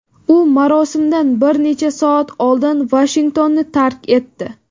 U marosimdan bir necha soat oldin Vashingtonni tark etdi.